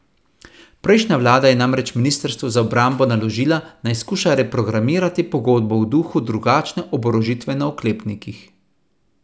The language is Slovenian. Prejšnja vlada je namreč ministrstvu za obrambo naložila, naj skuša reprogramirati pogodbo v duhu drugačne oborožitve na oklepnikih.